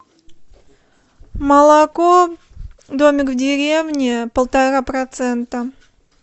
молоко домик в деревне полтора процента